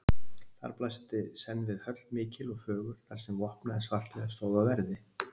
Þar blasti senn við höll mikil og fögur, þar sem vopnaðir svartliðar stóðu á verði.